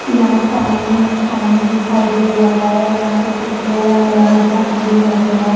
यहां सामने में पानी दिखाई दे रहा है यहां पे कुछ बोया हुआ है दा गेहू वगैरह --